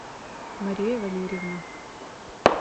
мария валерьевна